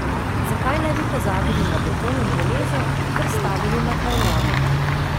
Zakaj ne bi pozabili na beton in železo ter stavili na kaj novega?